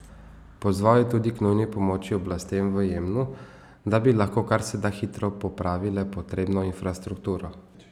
Pozval je tudi k nujni pomoči oblastem v Jemnu, da bi lahko kar se da hitro popravile potrebno infrastrukturo.